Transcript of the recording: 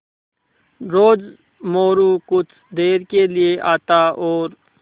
रोज़ मोरू कुछ देर के लिये आता और